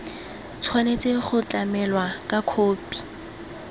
tshwanetse go tlamelwa ka khophi